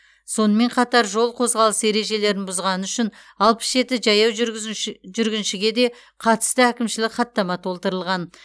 сонымен қатар жол қозғалысы ережелерін бұзғаны үшін алпыс жеті жаяу жүргіншіге де қатысты әкімшілік хаттама толтырылған